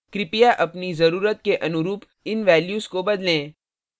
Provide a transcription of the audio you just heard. कृपया अपनी जरूरत के अनुरूप इन values को बदलें